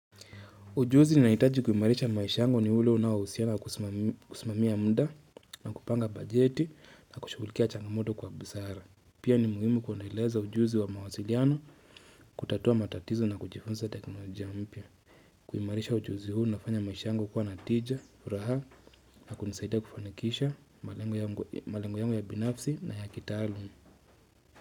Ujuzi ninaohitaji kuimarisha maisha yangu ni ule unaohusiana na kusimamia muda na kupanga bajeti na kushughulikia changamoto kwa busara. Pia ni muhimu kuendeleza ujuzi wa mawasiliano, kutatua matatizo na kujifunza teknolojia mpya. Kuimarisha ujuzi huu unafanya maisha yangu kuwa natija, furaha na kunisaidia kufanikisha malengo yangu ya binafsi na ya kitaalum.